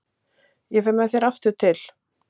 Ég fer með þér aftur til